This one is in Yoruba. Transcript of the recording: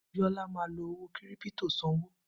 Biola ma fi owó kírípítò sanwó